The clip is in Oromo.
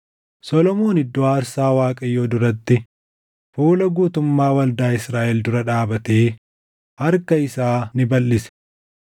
Solomoon iddoo aarsaa Waaqayyoo duratti fuula guutummaa waldaa Israaʼel dura dhaabatee harka isaa ni balʼise.